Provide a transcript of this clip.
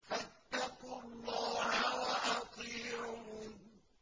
فَاتَّقُوا اللَّهَ وَأَطِيعُونِ